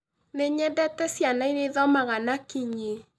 Nĩ nyendete ciana iria ithomaga na kinyi